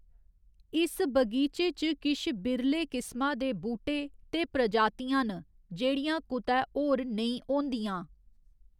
इस बगीचे च किश बिरले किस्मा दे बूह्‌‌टे ते प्रजातियां न जेह्‌‌ड़ियां कुतै होर नेईं होंदियां।